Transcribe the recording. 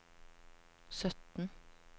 sytten